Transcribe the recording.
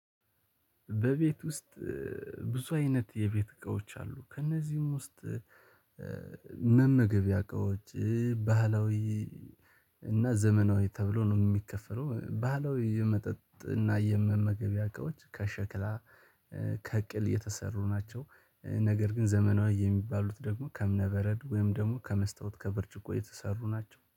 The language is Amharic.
በቤት ውስጥ ብዙ አይነት የቤት እቃዎች አሉ ከእነዚህም ውስጥ። መመገቢያ እቃዎች ባህላዊ እና ዘመናዊ ተብሎ ነው ሚከፈለው። ማለት ባህላዊ የመጠጥ እና የመመገብ ያውቀውት ከሸክላ ከቅል የተሰሩ ናቸው። ነገር ግን ዘመናዊ የሚባሉት ደግሞ ከምነበረድ ወይም ደግሞ ከመስታወት ከብርጭቆ የተሰሩ ናቸው